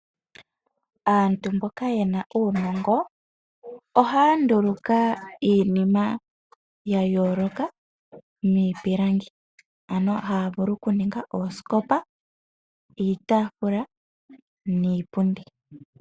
Aantu mboka yena uunongo ohaya nduluka iinima yayoloka miipilangi ano havulu okuninga oosikopa, iitafula niipundi.